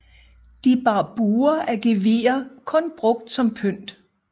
De bar buer af gevirer kun brugt som pynt